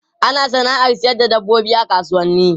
Ana sana'ar sayar da dabbobi a kasuwanni.